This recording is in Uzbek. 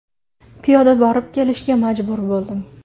Piyoda borib kelishga majbur bo‘ldim.